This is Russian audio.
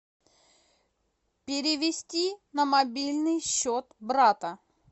перевести на мобильный счет брата